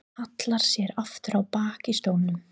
Hallar sér aftur á bak í stólnum.